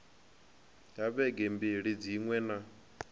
ha vhege mbili dziṅwe na